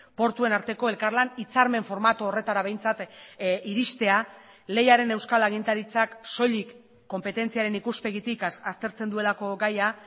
portuen arteko elkarlan hitzarmen formatu horretara behintzat iristea leiaren euskal agintaritzak soilik konpetentziaren ikuspegitik aztertzen duelako gaia